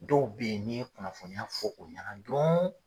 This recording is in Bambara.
Dɔw bɛ ye n'i ye kunnafoniya fɔ o ɲana dɔrɔn